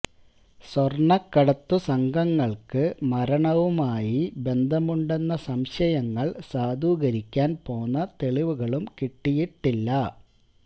സ്വര്ണക്കടത്തു സംഘങ്ങള്ക്ക് മരണവുമായി ബന്ധമുണ്ടെന്ന സംശയങ്ങള് സാധൂകരിക്കാന് പോന്ന തെളിവുകളും കിട്ടിയിട്ടില്ല